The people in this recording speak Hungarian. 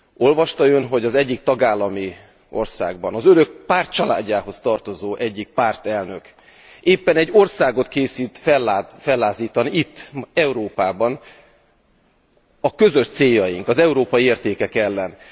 Olvasta Ön, hogy az egyik tagállami országban, az Önök pártcsaládjához tartozó egyik pártelnök éppen egy országot készít fellázítani itt, Európában, a közös céljaink, az európai értékek ellen.